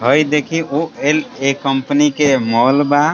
भाई देखिए ओ ए एल कंपनी के माल बा।